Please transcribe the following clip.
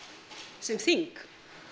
sem þing